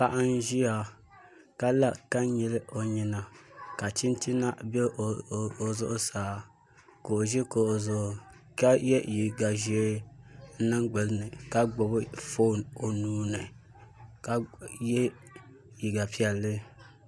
Paɣa n ʒiya ka la ka nyili o nyina ka chinchina bɛ o zuɣusaa ka o ʒi kuɣu zuɣu ka yɛ liiga ʒiɛ n niŋ gbunni ka gbubi foon o nuuni ka yɛ liiga piɛlli